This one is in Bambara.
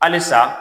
Halisa